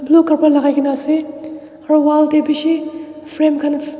blue kapra lakaikaena aro wall tae bishi frame khan--